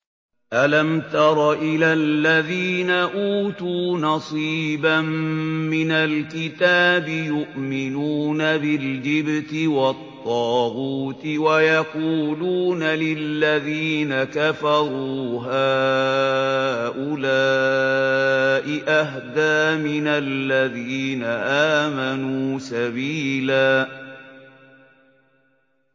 أَلَمْ تَرَ إِلَى الَّذِينَ أُوتُوا نَصِيبًا مِّنَ الْكِتَابِ يُؤْمِنُونَ بِالْجِبْتِ وَالطَّاغُوتِ وَيَقُولُونَ لِلَّذِينَ كَفَرُوا هَٰؤُلَاءِ أَهْدَىٰ مِنَ الَّذِينَ آمَنُوا سَبِيلًا